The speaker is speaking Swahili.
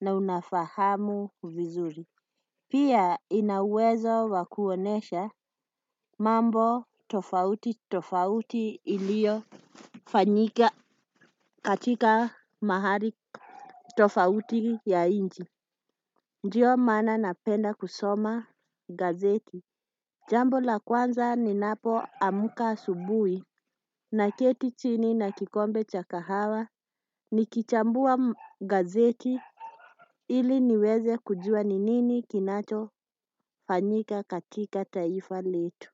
na unafahamu vizuri. Pia ina uwezo wa kuonesha mambo tofauti tofauti ilio fanyika katika mahali tofauti ya nchi. Ndiyo maana napenda kusoma gazeti. Jambo la kwanza ninapo amka asubuhi naketi chini na kikombe cha kahawa. Nikichambua gazeti ili niweze kujua ni nini kinacho fanyika katika taifa letu.